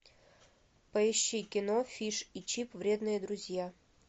поищи кино фиш и чип вредные друзья